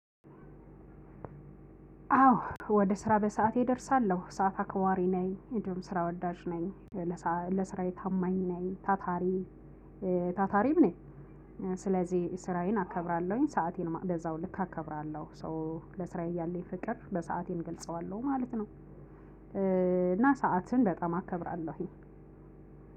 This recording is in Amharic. አዎ ወደ ስራ በሰአቴ እደርሳለሁ ሰዓት አክባሪ ነኝ እንዲሁም ስራ ወዳጅ ነኝ። ለስራዬ ታማኝ ነኝ ታታሪ ታታሪም ነኝ። ስለዚህ ስራዬን አከብራለሁኝ ሰአቴንም በዛው ልክ አከብራለሁ። ለስራዬ እያለኝ ፍቅር በሰአቴን ገልጸዋለሁ ማለት ነው። እና ሰዓትን በጣም አከብራለሁኝ።